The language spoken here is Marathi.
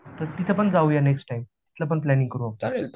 तर तिथे पण जाऊ या नेक्स्ट टाईम तिथे पण प्लॅनिंग करू आपण